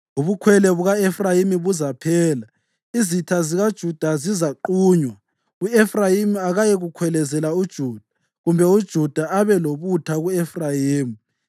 Ubukhwele buka-Efrayimi buzaphela, izitha zikaJuda zizaqunywa; u-Efrayimi akayikukhwelezela uJuda, kumbe uJuda abe lobutha ku-Efrayimi.